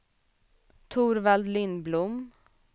Torvald Lindblom